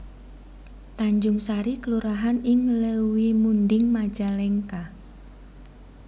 Tanjungsari kelurahan ing Leuwimunding Majalengka